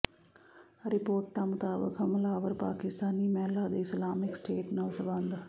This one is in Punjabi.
ਰਿਪੋਰਟਾਂ ਮੁਤਾਬਕ ਹਮਲਾਵਰ ਪਾਕਿਸਤਾਨੀ ਮਹਿਲਾ ਦੇ ਇਸਲਾਮਿਕ ਸਟੇਟ ਨਾਲ ਸਬੰਧ